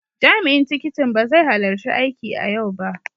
Jami'in tikitin ba zai halarci aiki a yau ba.